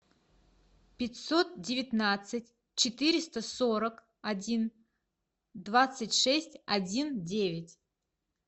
пятьсот девятнадцать четыреста сорок один двадцать шесть один девять